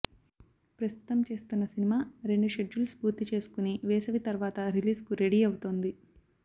ప్రస్తుతం చేస్తున్న సినిమా రెండు షెడ్యూల్స్ పూర్తి చేసుకొని వేసవి తర్వాత రిలీజ్కు రెడీ అవుతోంది